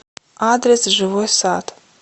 адрес живой сад